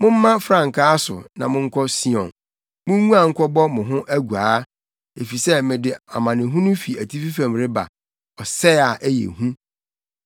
Momma frankaa so na monkɔ Sion munguan nkɔbɔ mo ho aguaa! Efisɛ mede amanehunu fi atifi fam reba, ɔsɛe a ɛyɛ hu.”